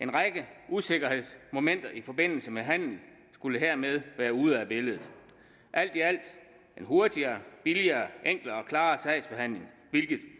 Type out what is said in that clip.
en række usikkerhedsmomenter i forbindelse med handelen skulle hermed være ude af billedet alt i alt en hurtigere billigere mere enkel og klar sagsbehandling hvilket vi